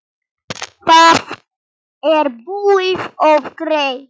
Það er búið og gert!